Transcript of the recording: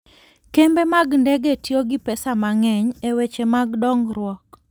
Kembe mag ndege tiyo gi pesa mang'eny e weche mag dongruok.